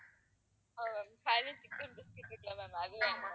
ஆமா ma'amfireless chicken இருக்குல்ல ma'am அது வேணும்